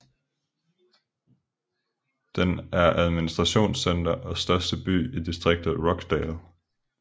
Den er administrationscenter og største by i distriktet Rochdale